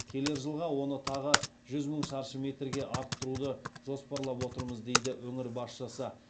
келер жылға оны тағы жүз мың шаршы метрге арттыруды жоспарлап отырмыз дейді өңір басшысы